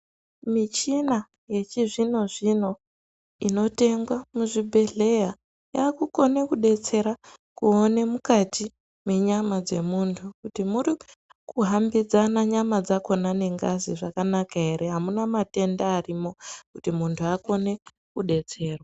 Michina yechizvino-zvino inotengwa muzvibhedhleya yakukone kubetsera kuone mukati menyama dzemuntu. Kuti murikuhambidzana nyama dzakona ngengazi zvakanaka ere, hamuna matenda arimwo kuti muntu akone kubetserwa.